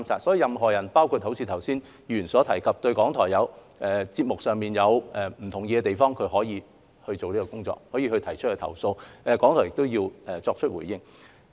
所以，任何人若如剛才議員所述對節目有不同意的地方，可以提出投訴，港台需要作出回應。